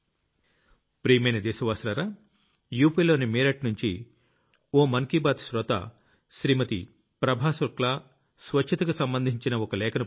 ప్రియమైన దేశ వాసులారా యూపీలోని మీరట్ నుంచి ఓ మనసులో మాట శ్రోత శ్రీమతి ప్రభా శుక్లా స్వచ్ఛతకు సంబంధించిన ఓ లేఖను పంపారు